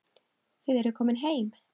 Þið eruð komin heim.